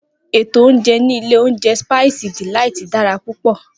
Eto oúnjẹ ni ilé oúnjẹ Spice Delight dara púpọ.